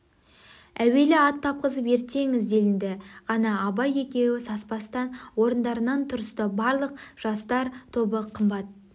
әуелі ат тапқызып ерттетіңіз деді нді ғана абай екеуі саспастан орындарынан тұрысты барлық жастар тобы қымбат